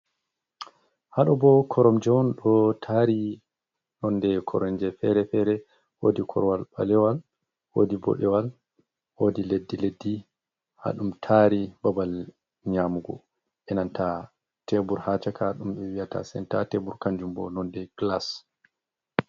Haɗo bo koromje on ɗo tari nonde koromje fere-fere, wodi korowal ɓalewal, wodi boɗewal, wodi leddi leddi ha ɗum tari, babal nyamugo enanta tebur ha chaka ɗum ɓe wiyata senta tebur kanjum bo nonde kilas.